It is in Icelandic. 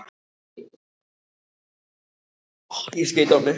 Og hleypur heim í einum spreng.